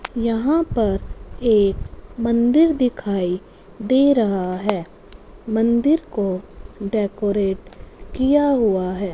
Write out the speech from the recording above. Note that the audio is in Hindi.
यहां पर एक मंदिर दिखाई दे रहा है मंदिर को डेकोरेट किया हुआ है।